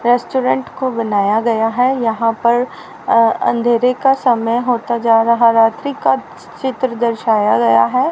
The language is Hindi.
रेस्टोरेंट को बनाया गया है यहां पर अ अंधेरे का समय होता जा रहा रात्रि का चित्र दर्शाया गया है।